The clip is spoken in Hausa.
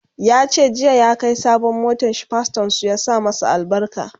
yace jiya ya Kai sabon motanshi pastorn su ya sa masa albarka